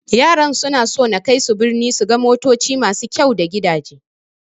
Yaran suna so na kaisu birni su ga motoci masu kyau da gidaje.